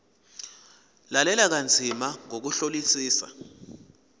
lalela kanzima ngokuhlolisisa